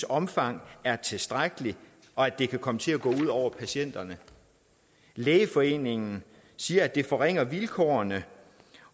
omfang er tilstrækkeligt og at det kan komme til at gå ud over patienterne lægeforeningen siger at det forringer vilkårene